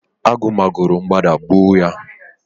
agụ ma go ro mgbada gbuo ya